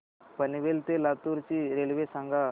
पनवेल ते लातूर ची रेल्वे सांगा